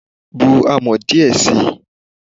Bu amọ̀ díẹ̀ sií